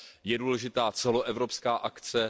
Je důležitá celoevropská akce.